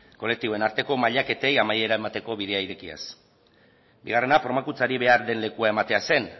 kolektiboen arteko mailaketei amaiera emateko bidea irekiaz bigarrena formakuntzari behar den lekua ematea zen